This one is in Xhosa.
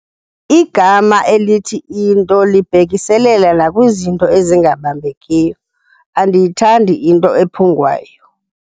Igama elithi into libhekiselela nakwizinto ezingabambekiyo. Andiyithandi into ephungwayo